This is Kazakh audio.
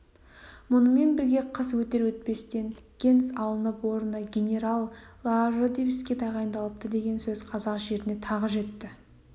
мұнымен бірге қыс өтер-өтпестен генс алынып орнына генерал ладыжинский тағайындалыпты деген сөз қазақ жеріне тағы жетті